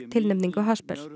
tilnefningu